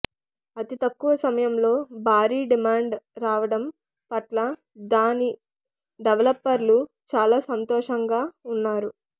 అతి తక్కువ సమయంలో భారీ డమాండ్ రావడం పట్ల దాని డెవలపర్లు చాలా సంతోషంగా ఉన్నారు